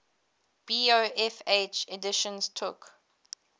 bofh editions took